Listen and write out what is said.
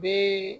Bee